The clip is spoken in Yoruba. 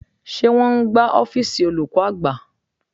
Ṣé wọn ń gbá ọ́fíìsì olùkọ́ àgbà?